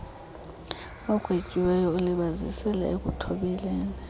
ugwetyiweyo ulibazisile ekuthobeleni